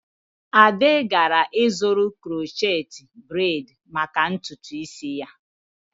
Ade gara ịzụrụ crochet braid maka ntutu isi ya.